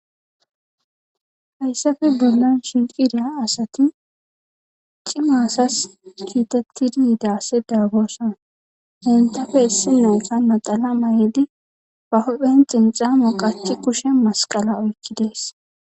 Hayssafe bollan shinqidiya asati cimasas kiitettidi yiidase daagooson hentafe issi leyka naxalama yidi ba hophen xinxamo qachi kushe masqala oykkidees.